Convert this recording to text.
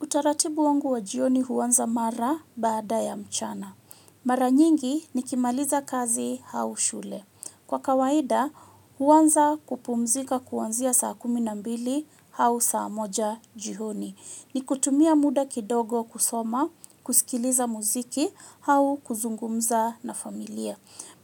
Utaratibu wangu wa jioni huanza mara baada ya mchana. Mara nyingi nikimaliza kazi au shule. Kwa kawaida huanza kupumzika kuanzia saa kumi na mbili au saa moja jioni. Ni kutumia muda kidogo kusoma, kusikiliza muziki au kuzungumza na familia.